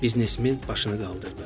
Biznesmen başını qaldırdı.